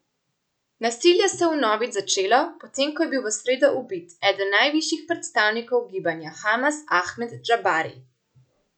Nasilje se je vnovič začelo, potem ko je bil v sredo ubit eden najvišjih predstavnikov gibanja Hamas Ahmed Džabari.